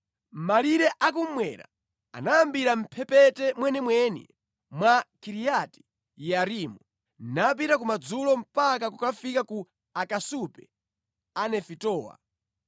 Malire a kummwera anayambira mʼmphepete mwenimweni mwa Kiriati Yearimu napita kumadzulo mpaka kukafika ku akasupe a Nefitowa.